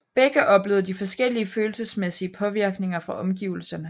Begge oplevede de forskellige følelsesmæssige påvirkninger fra omgivelserne